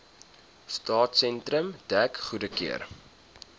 stadsentrum dek goedgekeur